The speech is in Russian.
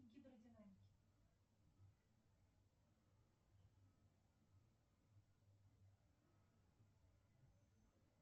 гидродинамики